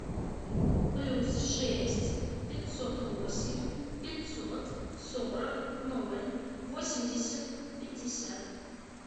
плюс шесть пятьсот восемь пятьсот сорок ноль восемьдесят пятьдесят